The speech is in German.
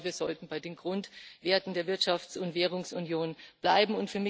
Ich glaube, wir sollten bei den Grundwerten der Wirtschafts und Währungsunion bleiben.